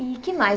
E o que mais?